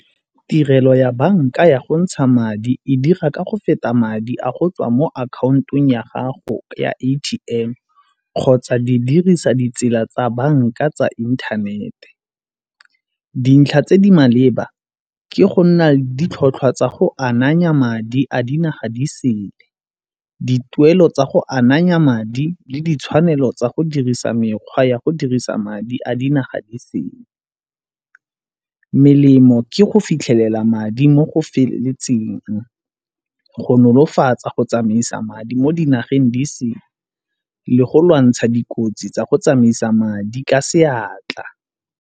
Tirelo ya banka ya go ntsha madi e dira ka go feta madi a go tswa mo akhaontong ya gago ya A_T_M kgotsa di dirisa ditsela tsa banka tsa inthanete. Dintlha tse di maleba ke go nna ditlhotlhwa tsa go ananya madi a dinaga di sele. Dituelo tsa go ananya madi le ditshwanelo tsa go dirisa mekgwa ya go dirisa madi a dinaga di sele. Melemo ke go fitlhelela madi mo go feleletseng go nolofatsa go tsamaisa madi mo dinageng di sele, go lwantsha dikotsi tsa go tsamaisa madi ka seatla.